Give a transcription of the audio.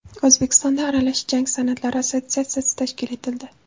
O‘zbekistonda Aralash jang san’atlari assotsiatsiyasi tashkil etildi.